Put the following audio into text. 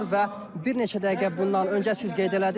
Və bir neçə dəqiqə bundan öncə siz qeyd elədiniz,